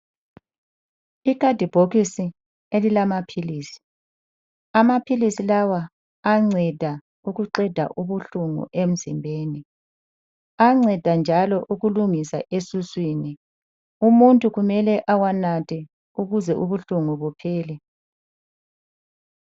Ikhadibhokisi elilamaphilisi, amaphilisi lawa ayanceda ukuqeda ubuhlungu emzimbeni. Ayanceda njalo ukulungisa esiswini. Umuntu kumele awanathe ukuze ubuhlungu buphele.